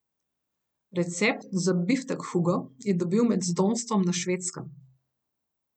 Recept za biftek Hugo je dobil med zdomstvom na Švedskem.